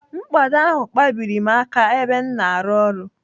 Mkpado ahụ kpabiri m aka ebe m na-arụ ọrụ.